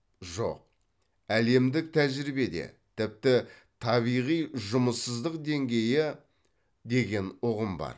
жоқ әлемдік тәжірибеде тіпті табиғи жұмыссыздық деңгейі деген ұғым бар